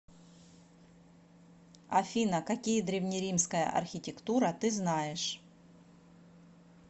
афина какие древнеримская архитектура ты знаешь